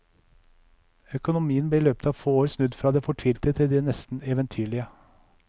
Økonomien ble i løpet av få år snudd fra det fortvilte til det nesten eventyrlige.